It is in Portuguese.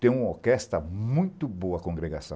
Tem uma orquestra muito boa, a Congregação.